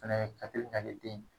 Fɛnɛ ye katiri k'ale den.